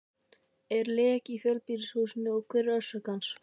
Er leki í fjölbýlishúsinu og hver er orsök hans?